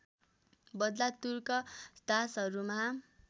बदला तुर्क दासहरूमा